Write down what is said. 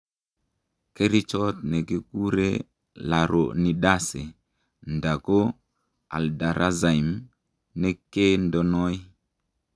Kerichot ne kikure laronidase nda ko Aldurazyme ne ke ndenoi.